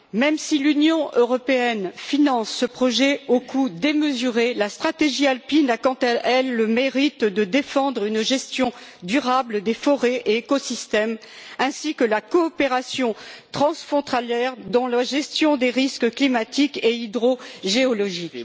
Même si l'Union européenne finance ce projet au coût démesuré, la stratégie alpine a quant à elle le mérite de défendre une gestion durable des forêts et des écosystèmes ainsi que la coopération transfrontalière dans la gestion des risques climatiques et hydrogéologiques.